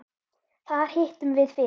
Þar hittum við fyrir